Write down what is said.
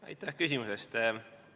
Aitäh küsimuse eest!